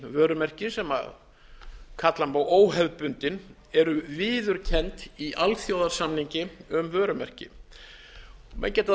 vörumerki sem kalla má óhefðbundin eru viðurkennd í alþjóðasamningi um vörumerki menn geta þá